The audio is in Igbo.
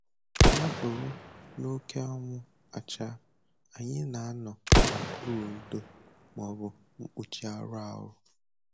Ya bụrụ n'oke anwụ achaa, anyị na-anọ n'okpuru ndo maọbụ mkpuchi arụ ọrụ